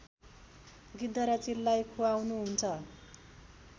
गिद्ध र चिललाई खुवाउनुहुन्छ